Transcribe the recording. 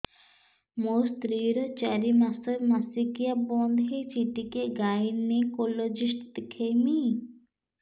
ମୋ ସ୍ତ୍ରୀ ର ଚାରି ମାସ ମାସିକିଆ ବନ୍ଦ ହେଇଛି ଟିକେ ଗାଇନେକୋଲୋଜିଷ୍ଟ ଦେଖେଇବି